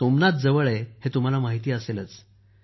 सोमनाथजवळ दीव आहे हे तुम्हाला माहीत असेलच